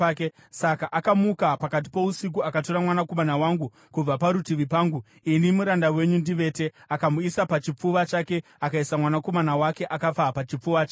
Saka akamuka pakati pousiku akatora mwanakomana wangu kubva parutivi pangu, ini muranda wenyu ndivete. Akamuisa pachipfuva chake akaisa mwanakomana wake akafa pachipfuva changu.